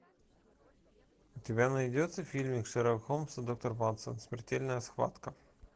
у тебя найдется фильмик шерлок холмс и доктор ватсон смертельная схватка